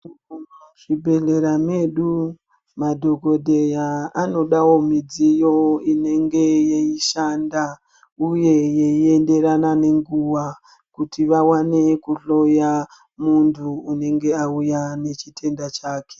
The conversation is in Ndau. Muzvibhendlera medu madhokodheya anodawo midziyo inenge yeishanda uye yeienderana nenguwa kuti vawane kuhloya munthu unenge auya nechitenda chake.